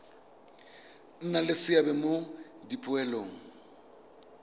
nna le seabe mo dipoelong